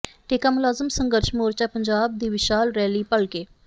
ਠੇਕਾ ਮੁਲਾਜ਼ਮ ਸੰਘਰਸ਼ ਮੋਰਚਾ ਪੰਜਾਬ ਦੀ ਵਿਸ਼ਾਲ ਰੈਲੀ ਭਲਕੇ